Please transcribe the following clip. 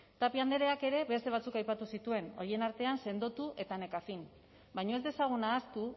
tapia andreak ere beste batzuk aipatu zituen horien artean sendotu eta nekafin baina ez dezagun ahaztu